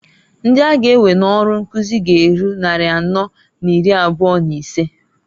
Ndi a ga ewe n'ọrụ nkuzi g'eru nnari anọọ n'iri abụa n'isee.